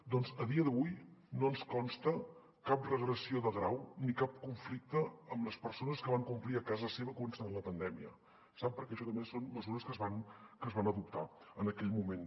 doncs a dia d’avui no ens consta cap regressió de grau ni cap conflicte amb les persones que van complir a casa seva coincidint amb la pandèmia sap perquè això també són mesures que es van adoptar en aquell moment